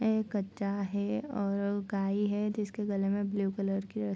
ऐ कच्चा है और ओ गाइ है जिसके गले में ब्लू कलर की रस् --